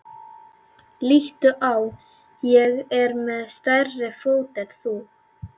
Líttu á, ég er með stærri fót en þú.